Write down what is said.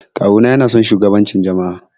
Kawu na yana son shugabancin jama'a.